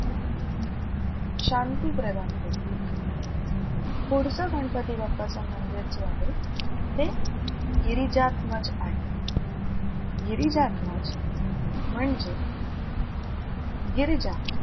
शांती प्रदान करते. पुढचं गणपती बाप्पाचं मंदिर जे आहे ते गिरिजात्मज आहे. गिरिजात्मज म्हणजे गिरीजा.